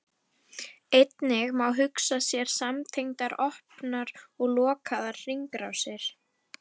Einnig má hugsa sér samtengdar opnar og lokaðar hringrásir.